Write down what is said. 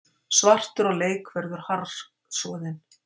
Svartur á leik verður harðsoðin